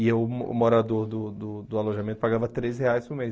E eu, mo morador do do do alojamento, pagava três reais por mês.